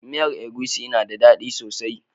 Miyan agushi na da daddi sosai.